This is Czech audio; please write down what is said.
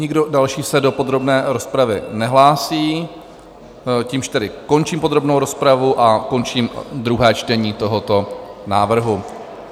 Nikdo další se do podrobné rozpravy nehlásí, čímž tedy končím podrobnou rozpravu a končím druhé čtení tohoto návrhu.